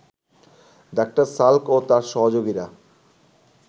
ডা: সাল্ক ও তাঁর সহযোগীরা